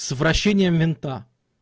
с вращением винта